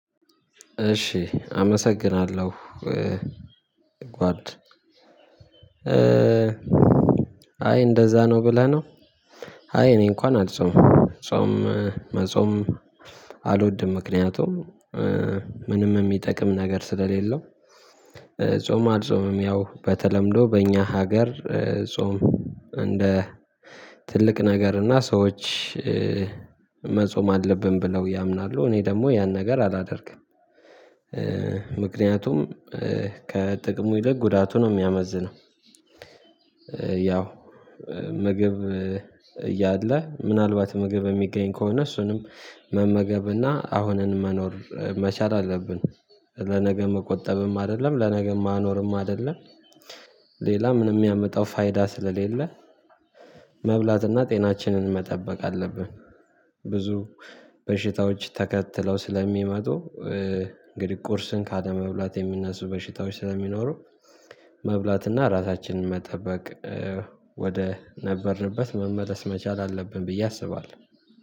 እሺ አመሰግናለሁ ጓድ አይ እንደዛ ነው ብለህ ነው። አይ እኔ እንኳን አልጾምም ጾም መጾም አልወድም። ምክንያቱም ምንም የሚጠቅም ነገር ስለሌለው። ጾም አልጾምም ያው በተለምዶ በእኛ ሀገር። ጾም እንደ ትልቅ ነገር እና ሰዎች መጾም አለብን ብለው ያምናሉ እኔ ደግሞ ያን ነገር አላደርግም። ምክንያቱም ከጥቅሙ ይልቅ ጉዳቱ ነው የሚያመዝነው። ያው ምግብ እያለ ምናልባት ምግብ የሚገኝ ከሆነ እሱንም መመገብና አሁንን መኖር መቻል አለብን ለነገ መቆጠብም አይደለም ለነገ ማኖርም አይደለም። ሌላ ምንም ያሚያመጣው ፋይዳ ስለሌለ መብላትና ጤናችንን መጠበቅ አለብን። ብዙ በሽታዎች ተከትለው ስለሚመጡ እንግዲህ ቁርስን ካለመብላት የሚነሱ በሽታዎች ስለሚኖሩ መብላትና ራሳችንን መጠበቅ ወደ ነበርንበት መመለስ መቻል አለብን ብዬ አስባለሁ